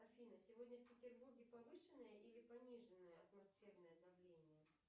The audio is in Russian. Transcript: афина сегодня в петербурге повышенное или пониженное атмосферное давление